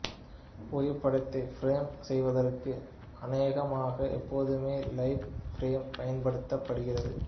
புகைப்படத்தை ஃபிரேம் செய்வற்கு அநேகமாக எப்போதுமே லைவ் ப்ரிவ்யூ பயன்படுத்தப்படுகிறது